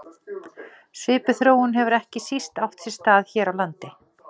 Svipuð þróun hefur ekki síst átt sér stað hér á landi.